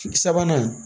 Sabanan